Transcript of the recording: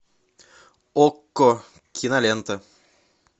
окко кинолента